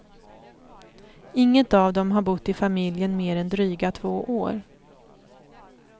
Inget av dem har bott i familjen mer än dryga två år.